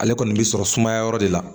Ale kɔni bɛ sɔrɔ sumaya yɔrɔ de la